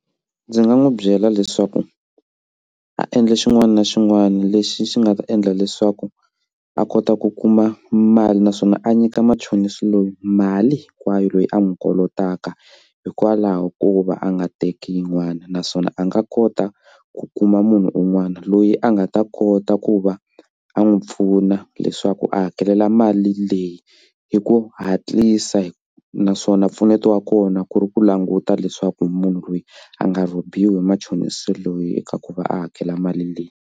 Ndzi nga n'wi byela leswaku a endla xin'wana na xin'wana lexi xi nga ta endla leswaku a kota ku kuma mali naswona a nyika machonisi lowu mali hinkwayo loyi a n'wi kolotaka hikwalaho ko va a nga teki yin'wana naswona a nga kota ku kuma munhu un'wana loyi a nga ta kota ku va a n'wi pfuna leswaku a hakelela mali leyi hi ku hatlisa hi naswona mpfuneto wa kona ku ri ku languta leswaku munhu loyi a nga rhobiwa machonisi loyi eka ku va a hakela mali leyi.